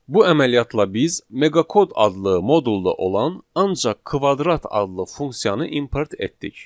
Bu əməliyyatla biz meqa kod adlı modulda olan ancaq kvadrat adlı funksiyanı import etdik.